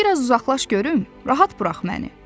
Bir az uzaqlaş görüm, rahat burax məni.